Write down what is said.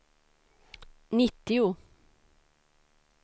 nittio